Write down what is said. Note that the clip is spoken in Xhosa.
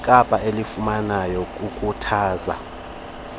wekapa elifundayo ukhuthaza